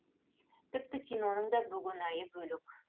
тіпті киноның да бөгенайы бөлек